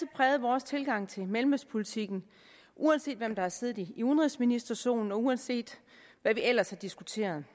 præget vores tilgang til mellemøstpolitikken uanset hvem der har siddet i udenrigsministerstolen og uanset hvad vi ellers har diskuteret